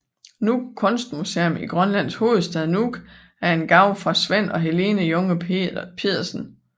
Nuuk Kunstmuseum i Grønlands hovedstad Nuuk er en gave fra Svend og Helene Junge Pedersen